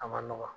A ma nɔgɔ